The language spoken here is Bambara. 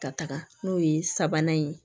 Ka taga n'o ye sabanan ye